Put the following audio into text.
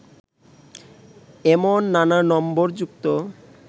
এমন নানা নম্বর যুক্ত